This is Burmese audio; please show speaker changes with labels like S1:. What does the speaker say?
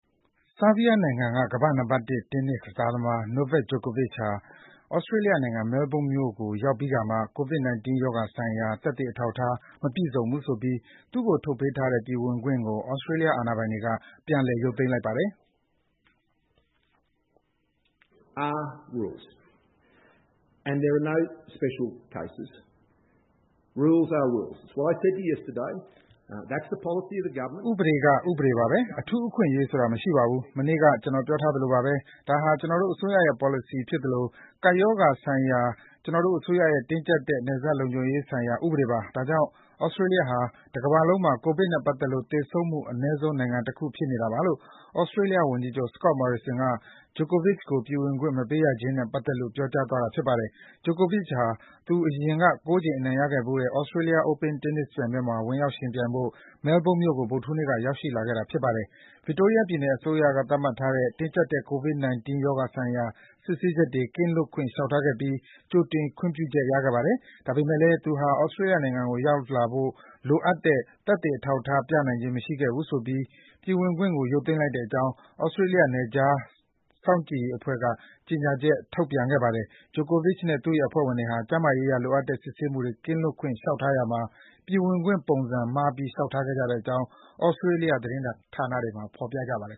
S1: ဆာဘီးယားနိုင်ငံက ကမ္ဘာ့နံပါတ်တစ် တင်းနစ်ကစားသမား Novak Djokovic ဟာ သြစတြေးလျနိုင်ငံ Melbourne မြို့ကို ရောက်ပြီးခါမှ ကိုဗစ် 19 ရောဂါဆိုင်ရာ သက်သေအထောက်အထား မပြည့်စုံဘူးဆိုပြီး သူ့ကိုထုတ်ပေးထားတဲ့ ပြည်ဝင်ခွင့်ကို သြစတြေးလျအာဏာပိုင်တွေက ပြန်လည်ရုပ်သိမ်းလိုက်ပါတယ်။
S2: “ဥပဒေက ဥ
S1: ပဒေပါပဲ။ အထူးအခွင့်အရေးဆိုတာ မရှိပါဘူး။ မနေ့က ကျနော်ပြောထားသလိုပါပဲ။ ဒါဟာ ကျနော်တို့အစိုးရရဲ့ ပေါ်လစီဖြစ်သလို ကပ်ရောဂါဆိုင်တဲ့ ကျနော်တို့ အစိုးရရဲ့ တင်းကြပ်တဲ့ နယ်စပ်ဒေသလုံခြုံရေးဆိုင်ရာ ဥပဒေပါ။ ဒါကြောင့် သြစတြေးလျဟာ တကမ္ဘာလုံးမှာ ကိုဗစ်နဲ့ပတ်သက်လို့ သေဆုံးမှုအနည်းဆုံးနိုင်ငံတခု ဖြစ်နေတာပါ” - လို့ သြစတြေးလျဝန်ကြီးချုပ် Scott Morrison က Djokovic ကို ပြည်ဝင်ခွင့်ဗီဇာ မပေးရခြင်းနဲ့ပတ်သက်လို့ ပြောကြားသွားတာပါ။ Djokovic ဟာ သူအရင်က ကိုးကြိမ် အနိုင်ရခဲ့ဘူးတဲ့ Australian Open Tennis ပြိုင်ပွဲမှာ ဝင်ရောက်ယှဉ်ပြိုင်ဖို့ Melbourne မြို့ကိုဗုဒ္ဓဟူးနေ့ ညက ရောက်ရှိလာခဲ့တာပါ။ Victoria ပြည်နယ်အစိုးရ သတ်မှတ်တဲ့ တင်းကြပ်တဲ့ ကိုဗစ် 19 ရောဂါဆိုင်ရာစစ်ဆေးချက် ကင်းလွတ်ခွင့် လျှောက်ထားခဲ့ပြီး ကြိုတင် ခွင့်ပြုချက်ရခဲ့ပါတယ်။ ဒါပေမဲ့လည်း သူဟာ သြစတြေးလျနိုင်ငံကို လာရောက်ဖို့ လိုအပ်တဲ့ သက်သေအထောက်အထား ပြသနိုင်ခြင်းမရှိခဲ့ဘူးဆိုပြီး ပြည်ဝင်ခွင့်ကို ရုပ်သိမ်းလိုက်တဲ့အကြောင်း သြစတြေးလျ နယ်ခြား စောင့်ကြပ်ရေးအဖွဲ့က ကြေညာချက် ထုတ်ပြန်ပါတယ်။ Djokovic နဲ့ သူ့ရဲ့အဖွဲ့ဝင်တွေဟာ ကျန်းမာရေးအရ လိုအပ်တဲ့ စစ်ဆေးမှု ကင်းလွတ်ခွင့် လျှောက်ထားရာမှာ ပြည်ဝင်ခွင့်ပုံစံမှားပြီး လျှောက် ထားခဲ့တဲ့အကြောင်း သြစတြေးလျ သတင်းဌာနတွေမှာလည်း ဖေါ်ပြပါတယ်